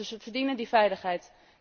Ze verdienen die veiligheid.